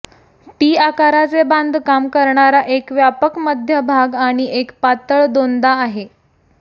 T आकाराचे बांधकाम करणारा एक व्यापक मध्य भाग आणि एक पातळ दोनदा आहे